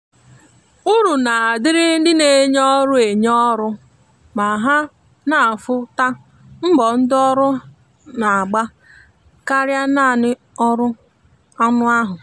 uru na adịrị ndị na enye ọrụ enye ọrụ ma ha na afụ ta mbọ ndi ọrụ na agba karịa naanị ọrụ anụ ahụ